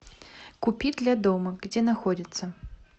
купи для дома где находится